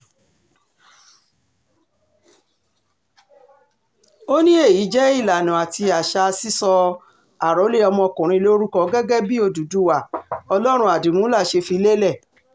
ó ní èyí jẹ́ ìlànà àti àṣà sísọ àròlé ọmọkùnrin lórúkọ gẹ́gẹ́ bí òdúdúwá ọlọ́run àdìmúlà ṣe fi lélẹ̀